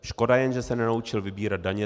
Škoda jen, že se nenaučil vybírat daně.